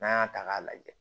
N'an y'a ta k'a lajɛ